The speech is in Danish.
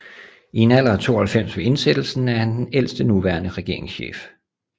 I en alder af 92 ved indsættelsen er han den ældste nuværende regeringschef